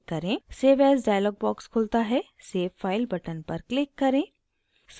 save as dialog box खुलता है save file button पर click करें